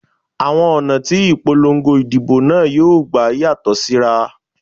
Àwọn ọ̀nà tí ìpolongo ìdìbò náà yóò gbà yàtọ̀ síra